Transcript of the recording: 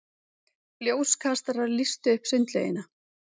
Ljóskastarar lýstu upp sundlaugina.